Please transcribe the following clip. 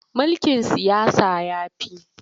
Mulkin siyasa ya fi.